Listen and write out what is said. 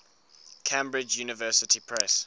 cambridge university press